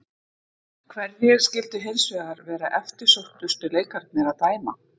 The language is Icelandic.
Hverjir skyldu hins vegar vera eftirsóttustu leikirnir að dæma?